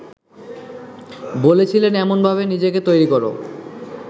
বলেছিলেন এমনভাবে নিজেকে তৈরি করো